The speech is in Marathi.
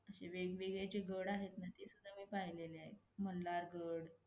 अशे वेगवेगळे जे गड आहेत ना ते सुधा मी पाहिलेले आहेत. मल्हार गड,